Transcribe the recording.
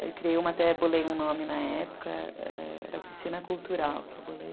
Aí eu criei uma, até bolei um nome na época, era Oficina Cultural, que eu bolei.